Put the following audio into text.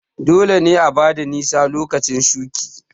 Dole ne a bada nisa lokacin shuƙi